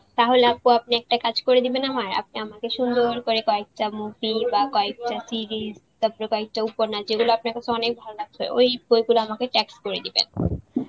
তাহলে আপু আপনি একটা কাজ করে দিবেন আমার? আপনি আমাকে সুন্দর পরে কয়েকটা movie বা কয়েকটা series উপন্যাস যেগুলো আপনার কাছে অনেক ভালো লাগছে ওই বইগুলা আমাকে text করে দিবেন